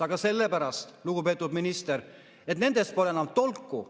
Aga sellepärast, lugupeetud minister, et nendest pole enam tolku.